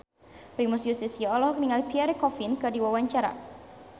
Primus Yustisio olohok ningali Pierre Coffin keur diwawancara